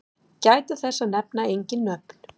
Gæta þess að nefna engin nöfn.